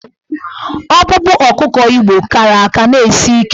Ọkpụkpụ ọkụkọ Igbo kara aka na-esi ike.